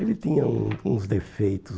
Ele tinha um uns defeitos.